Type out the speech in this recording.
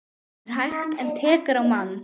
Það er hægt. en tekur á mann.